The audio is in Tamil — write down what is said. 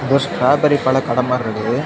ஒரு ஸ்ட்ராபெரி பழம் கடை மாதிரி இருக்குது.